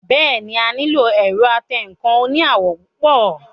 Bẹ́ẹ̀ni, a nílò ẹ̀rọ atẹǹkan oní àwọ̀ púpọ̀